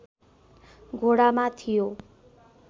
घोडामा थियो